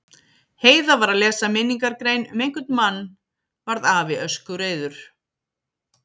Heiða var að lesa minningargrein um einhvern mann varð afi öskureiður.